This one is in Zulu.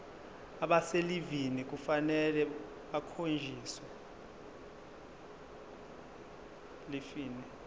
abaselivini kufanele bakhonjiswe